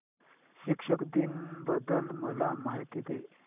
शिक्षक दिन बद्दल मला माहिती दे